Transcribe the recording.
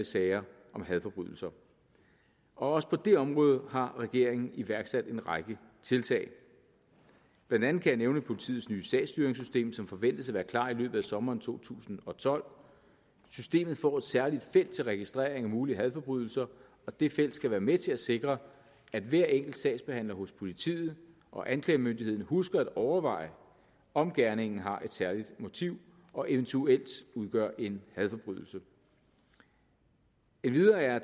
sager om hadforbrydelser og også på det område har regeringen iværksat en række tiltag blandt andet kan jeg nævne politiets nye sagsstyringssystem som forventes at være klar i løbet af sommeren to tusind og tolv systemet får et særligt felt til registrering af mulige hadforbrydelser og det felt skal være med til at sikre at hver enkelt sagsbehandler hos politiet og anklagemyndigheden husker at overveje om gerningen har et særligt motiv og eventuelt udgør en hadforbrydelse endvidere er